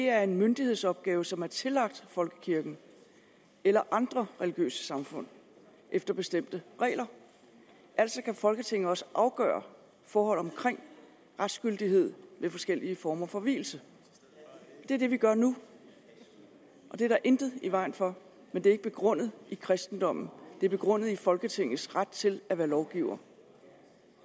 er en myndighedsopgave som er tillagt folkekirken eller andre religiøse samfund efter bestemte regler altså kan folketinget også afgøre forhold omkring retsgyldighed ved forskellige former for vielse det er det vi gør nu og det er der intet i vejen for men det er ikke begrundet i kristendommen det er begrundet i folketingets ret til at være lovgiver